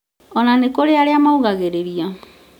ona nĩkũrĩ arĩa maũgagĩrĩria